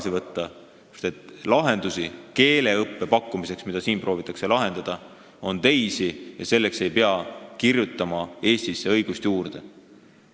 Meil on teisi lahendusi keeleõppeprobleemidele, mida siin lahendada proovitakse – selleks ei pea Eestisse õigust juurde kirjutama.